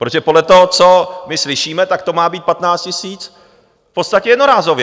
Protože podle toho, co my slyšíme, tak to má být 15 000 v podstatě jednorázově.